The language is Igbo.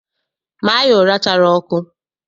Maa ya ụra chara ọkụ!